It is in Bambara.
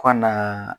Ka na